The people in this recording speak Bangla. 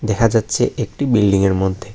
দেখা যাচ্ছে একটি বিল্ডিংয়ের মধ্যে--